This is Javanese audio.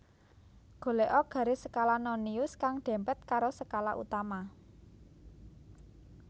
Golèka garis skala nonius kang dèmpèt karo skala utama